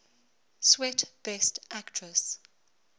swet best actress